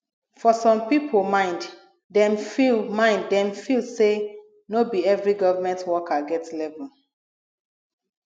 for some pipo mind dem feel mind dem feel sey no be every government worker get level